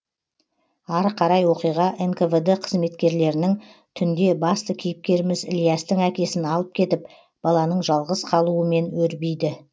ары қарай оқиға нквд қызметкерлерінің түнде басты кейіпкеріміз ілиястың әкесін алып кетіп баланың жалғыз қалуымен өрбиді